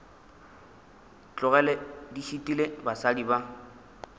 tlogele di šitile basadi ba